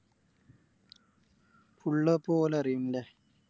Full ഇപ്പൊ ഓല ല്ലേ